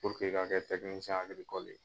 ka kɛ ye.